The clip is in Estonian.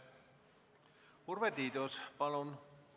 Urve Tiidus, palun!